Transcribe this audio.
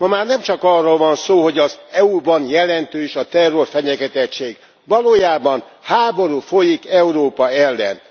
Ma már nem csak arról van szó, hogy az EU ban jelentős a terrorfenyegetettség, valójában háború folyik Európa ellen.